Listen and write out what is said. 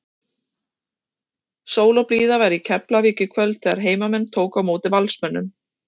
Sól og blíða var í Keflavík í kvöld þegar heimamenn tóku á móti Valsmönnum.